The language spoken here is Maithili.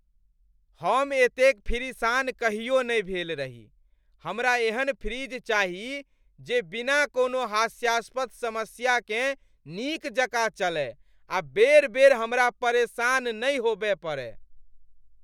हम एतेक फिरिसान कहियो नै भेल रही । हमरा एहन फ्रिज चाही जे बिना कोनो हास्यास्पद समस्याकेँ नीक जकाँ चलय आ बेर बेर हमरा परेशान नहि होबय पड़य।